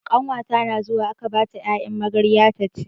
Ƙanwata na zawo aka bata 'ya'yan magarya taci.